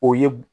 O ye